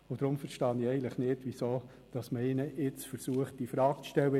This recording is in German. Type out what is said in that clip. Darum verstehe ich nicht, weshalb man jetzt versucht, ihn infrage zu stellen.